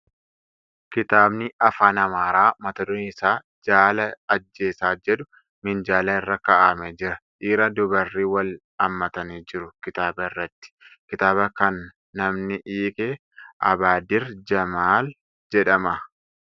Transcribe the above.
Kitaabni Afaan Amaaraa mata dureen isaa ' Jaala Ajjeesaa ' jedhu minjaala irra. kaa'amee jira . Dhiira dubarri wal haammatanii jiru kitaaba irratti . Kitaaba kan namni hiike 'Abbaadir Jamaal ' jedhama.